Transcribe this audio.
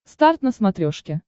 старт на смотрешке